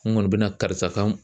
N kɔni bɛ na karisa kan